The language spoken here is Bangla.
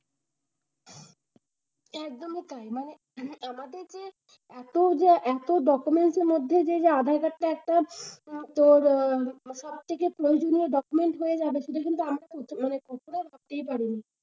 একদমই তাই মানে আমাদের যে, এত যে এত documents এর মধ্যে আধারকার্ডটা একটা তোর আহ সবথেকে প্রয়োজনীয় documents হয়ে যাবে সেটা কিন্তু ভাবতেই পারিনি।